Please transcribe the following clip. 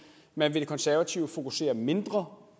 man vil i de konservative fokusere mindre